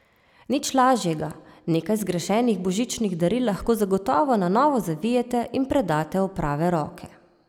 Nič lažjega, nekaj zgrešenih božičnih daril lahko zagotovo na novo zavijete in predate v prave roke.